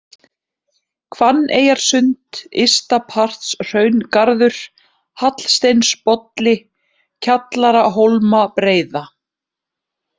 Hvanneyjarsund, Ystapartshraungarður, Hallsteinsbolli, Kjallarahólmabreiða